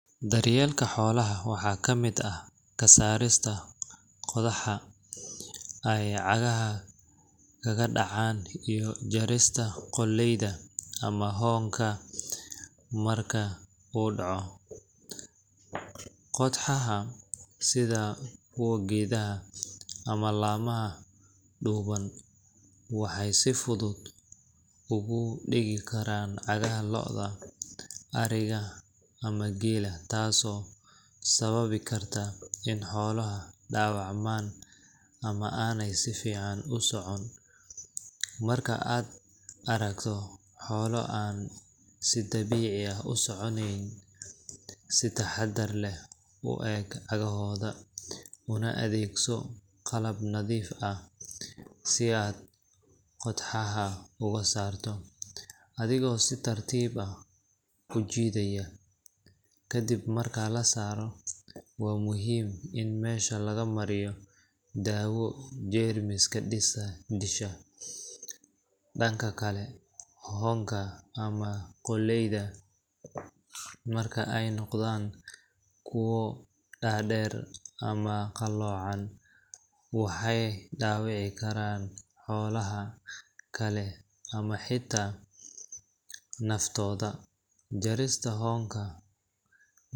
Daryeelka xoolaha waxaa ka mid ah ka saarista qodxaha ay cagaha kaga dhacaan iyo jarista qoolleyda ama hoonka marka uu kaco. Qodxaha, sida kuwa geedaha ama laamaha dhuuban, waxay si fudud ugu dhegi karaan cagaha lo’da, ariga ama geela, taasoo sababi karta in xooluhu dhaawacmaan ama aanay si fiican u socon. Marka aad aragto xoolo aan si dabiici ah u soconayn, si taxaddar leh u eeg cagahooda, una adeegso qalab nadiif ah si aad qodxaha uga saarto, adigoo si tartiib ah u jiidaya. Ka dib marka la saaro, waa muhiim in meesha laga mariyo daawo jeermiska disha. Dhanka kale, hoonka ama qoolleyda marka ay noqdaan kuwo dhaadheer ama qalloocan, waxay dhaawici karaan xoolaha kale ama xitaa naftooda. Jarista hoonka.